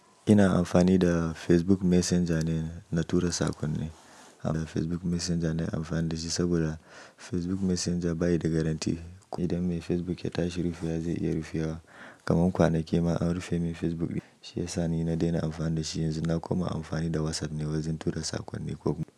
Ina amfani da Facebook Messenger ne na tura saƙonni. Facebook Messenger na amfani da shi saboda Facebook Messenger bayi da garantti. Idan mai Facebook ya tashi rufewa zai iya rufewa. Kaman kwanaki ma an rufe mun Facebook biyu. Shi ya sa ni na daina amfani da shi yanzu na kuma amfani da WhatsApp ne wajen tura saƙonni ko buga.